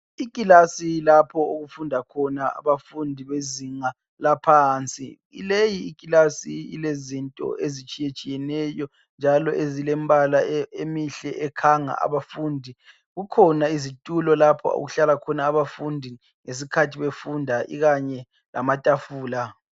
Ikilasi lapho okufunda khona abafundi bezinga laphansi, leyi ikilasi ilezinto ezitshiye tshiyeneyo njalo ezilemibala emihle ekhanga abafundi. Kukhona izitulo lapho okuhlala khona abafundi ngesikhathi befunda ikanye lamatafula.